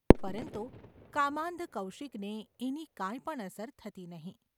પરંતુ કામાન્ધ કૌશિકને એની કાંઈ પણ અસર થતી નહિ.